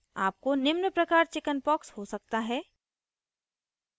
आपको निम्न प्रकार chickenpox हो सकता है